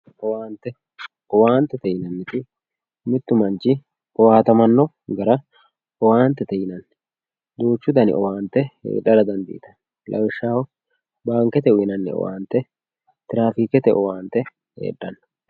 owaante owaantete yineemoti mittu manch owaantamanno gara owaantete yinanni duuchu dani owaante heexara dandiitanno lawishshaho baankete uyiinanni owaante tirafiikete owaante hexanno.